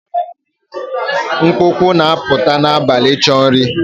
Mkpụkpọ na-apụta n'abalị ịchọ nri